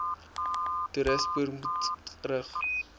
toerismeburo ptb rig